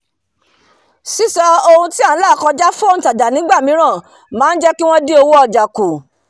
sísọ ohun um tí à n là kọjá fún òntajà nígbà mìíràn máá jẹ́kí wọ̀n dín owó ọ̀jà kù